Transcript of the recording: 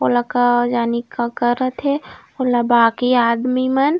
ओला का जानी का करत हे ओला बाकि आदमी मन--